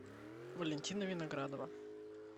валентина виноградова